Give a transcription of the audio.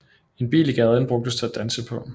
En bil i gaden brugtes til at danse på